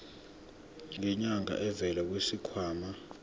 ngenyanga elivela kwisikhwama